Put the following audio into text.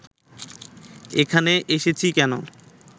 এখানে এসেছি কেন